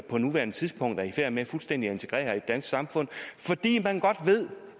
på nuværende tidspunkt i færd med fuldstændig at integrere i samfund fordi man